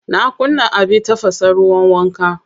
Na kunna abin tafasa ruwan wanka.